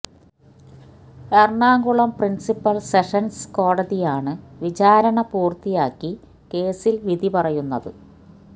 Ernakulam principal sessions കോടതിയാണ് വിചാരണ പൂര്ത്തിയാക്കി കേസില് വിധി പറയുന്നത്